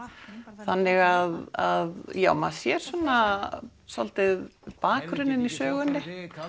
þannig að já maður sér svona svolítið bakgrunninn í sögunni